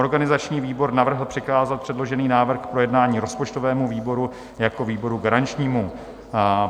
Organizační výbor navrhl přikázat předložený návrh k projednání rozpočtovému výboru jako výboru garančnímu.